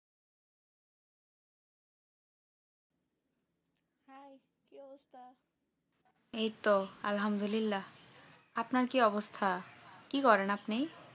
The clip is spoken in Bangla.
এই তো আলহামদুলা আপনার কি অবস্তা কি করেন আপনি?